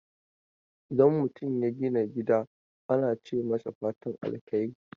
Idan mutum ya gina gida ana ce masa fatan alheri